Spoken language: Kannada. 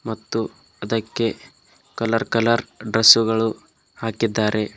ಮತ್ತು ಅದಕ್ಕೆ ಕಲರ್ ಕಲರ್ ಡ್ರೆಸ್ಸುಗಳು ಹಾಕಿದ್ದಾರೆ.